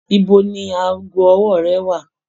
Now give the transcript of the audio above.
Ibo ni aago ọwọ́ rẹ wà?